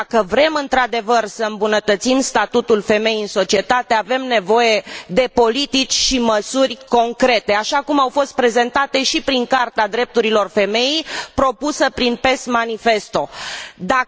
Dacă vrem, într adevăr, să îmbunătățim statutul femeii în societate, avem nevoie de politici și măsuri concrete, așa cum au fost prezentate și prin Carta drepturilor femeii, propusă prin Manifestul PES.